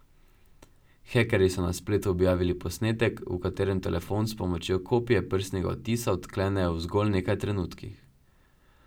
Hekerji so na spletu objavili posnetek, v katerem telefon s pomočjo kopije prstnega odtisa odklenejo v zgolj nekaj trenutkih.